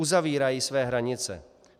Uzavírají své hranice.